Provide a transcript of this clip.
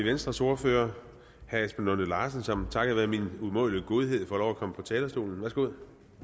venstres ordfører herre esben lunde larsen som takket være min umådelige godhed får lov at komme på talerstolen værsgo